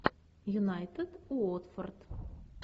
юнайтед уотфорд